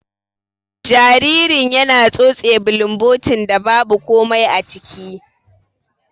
Jaririn yana tsotse bulumbotin da babu komai aciki.